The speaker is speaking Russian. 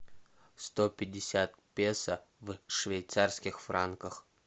сто пятьдесят песо в швейцарских франках